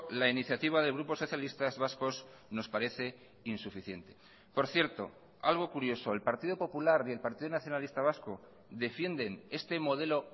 la iniciativa del grupo socialistas vascos nos parece insuficiente por cierto algo curioso el partido popular y el partido nacionalista vasco defienden este modelo